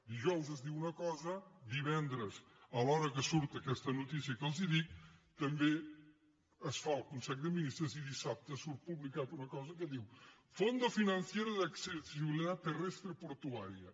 dijous es diu una cosa divendres a l’hora que surt aquesta notícia que els dic també es fa el consell de ministres i dissabte surt publicada una cosa que diu fondo financiero de accesibilidad terrestre portuaria